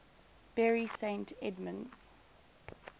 bury st edmunds